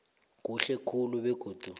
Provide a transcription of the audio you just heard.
kuhle khulu begodu